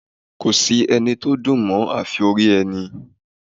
Kò sí ẹni tó dùn mọ́ afi orí ẹni